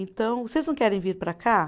Então, vocês não querem vir para cá?